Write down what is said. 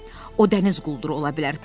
O dəniz qulduru ola bilər.